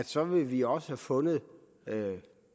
så vil vi også have fundet